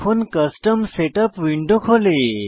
এখন custom setup window খোলে